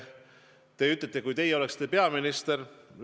Te ütlesite, et kui teie oleksite peaminister.